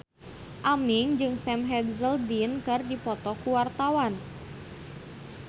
Aming jeung Sam Hazeldine keur dipoto ku wartawan